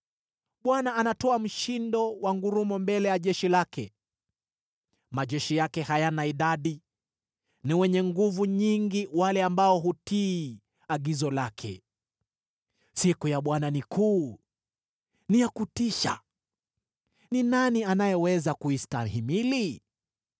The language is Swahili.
Bwana anatoa mshindo wa ngurumo mbele ya jeshi lake; majeshi yake hayana idadi, ni wenye nguvu nyingi wale ambao hutii agizo lake. Siku ya Bwana ni kuu, ni ya kutisha. Ni nani anayeweza kuistahimili?